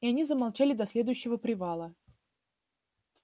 и они замолчали до следующего привала